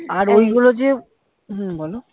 ওই গুলো যে হম বলো